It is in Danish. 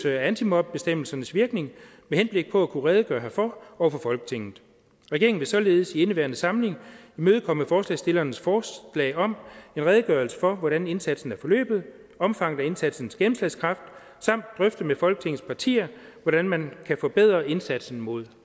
antimobbebestemmelsernes virkning med henblik på at kunne redegøre herfor over for folketinget regeringen vil således i indeværende samling imødekomme forslagsstillernes forslag om en redegørelse for hvordan indsatsen er forløbet og omfanget af indsatsens gennemslagskraft samt drøfte med folketingets partier hvordan man kan forbedre indsatsen mod